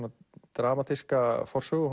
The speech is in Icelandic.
dramatíska forsögu